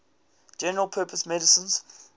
general purpose machine